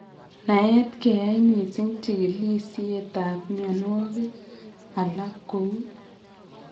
Naet keyae mising en chigilisietab mionwagik alak kou